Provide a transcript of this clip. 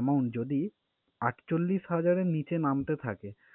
amount যদি আটচল্লিশ হাজার এর নিচে নামতে থাকে